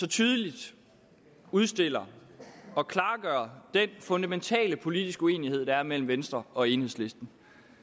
tydeligt udstiller og klarlægger den fundamentale politiske uenighed der er mellem venstre og enhedslisten